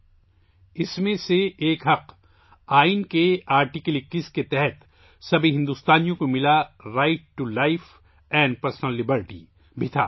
ان حقوق میں سے ایک 'حق زندگی اور ذاتی آزادی' کا حق بھی تھا جو آئین کے آرٹیکل 21 کے تحت تمام ہندوستانیوں کو دیا گیا ہے